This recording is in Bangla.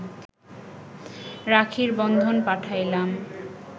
রাখির বন্ধন পাঠাইলাম